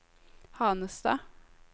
Hanestad